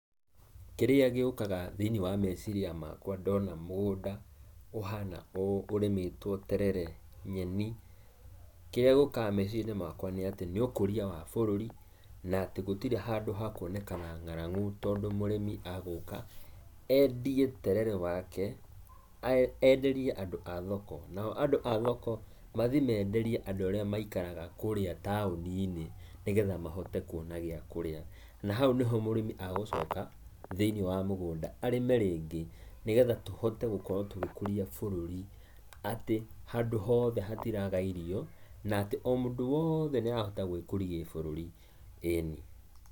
Kĩrĩa gĩũkaga thĩiniĩ wa meciria makwa ndona mũgunda ũhana ũũ ũrĩmetwo terere, nyeni, kĩrĩa gĩũkaga meciria-inĩ makwa nĩ ũkũria wa bũrũri, na atĩ gũtiri handũ hakuonekana ng’arangu tondũ mũrimi agũka endie terere wake enderie andũ a thoko, nao andũ a thoko mathiĩ menderie andũ arĩa maikaraga kũrĩa taũni-inĩ nĩgetha mahote kuona gĩa kũrĩa na hau nĩho mũrĩmi agũcoka thĩiniĩ wa mũgũnda arĩme rĩngĩ, nĩgetha tũhotegũkorwo tũgĩkũria bũrũri, atĩ handũ hothe hatiraga irio na atĩ o mũndũ woothe nĩahota gwĩkũria gĩbũrũri eni.